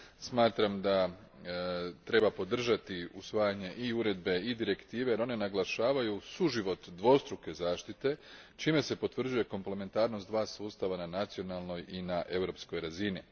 Smatram da treba podržati usvajanje i uredbe i direktive, jer one naglašavaju suživot dvostruke zaštite čime se potvrđuje komplementarnost dva sustava na nacionalnoj i na europskoj razini.